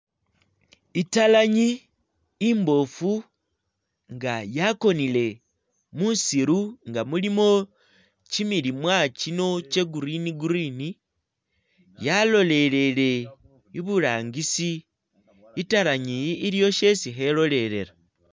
Italaanyi imbofu nga yakonele musiru nga mulimo kyimilimwa kyino kya green green yalolelele iburangisi italaanyi yi iliwo shesi khelolelela.